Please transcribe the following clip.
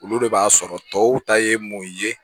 Olu de b'a sɔrɔ tɔw ta ye mun ye